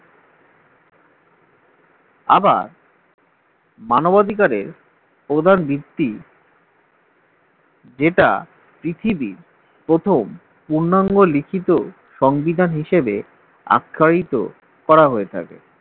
আবার মানবাধিকারের প্রধান ভিত্তি যেটা পৃথিবীর প্রথম পূর্ণাঙ্গ লিখিত সংবিধান হিসেবে আখ্যায়িত করা হয়ে থাকে